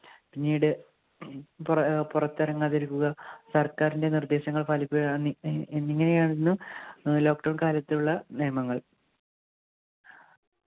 പിന്നീട് പുറ ഏർ പുറത്തിറങ്ങാതിരിക്കുക സർക്കാരിന്റെ നിർദ്ദേശങ്ങൾ പാലിക്കുക അന്നി എന്നിങ്ങനെയാണെന്ന് lockdown കാലത്തുള്ള നിയമങ്ങൾ